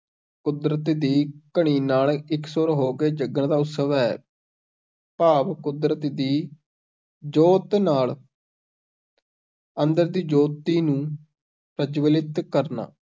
ਕੁਦਰਤ ਦੀ ਕਣੀ ਨਾਲ ਇਕਸੁਰ ਹੋ ਕੇ ਜਗਣ ਦਾ ਉਤਸਵ ਹੈ ਭਾਵ ਕੁਦਰਤ ਦੀ ਜੋਤ ਨਾਲ ਅੰਦਰ ਦੀ ਜੋਤੀ ਨੂੰ ਪ੍ਰਜਵਲਿਤ ਕਰਨਾ।